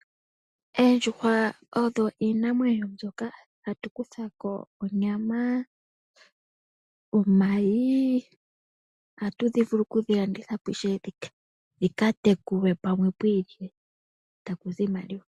Oondjuhwa odho iinamwenyo mbyoka hatu kutha ko onyama, omayi ohatu dhi vulu okudhi landitha po ishewe dhika tekulwe pamwe pwi ilile eta ku zi iimaliwa.